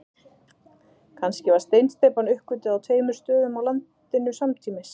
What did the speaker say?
Kannski var steinsteypan uppgötvuð á tveimur stöðum á landinu samtímis.